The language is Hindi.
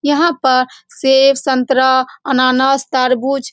यहाँ पर सेब संतरा अनन्नास तरबूज--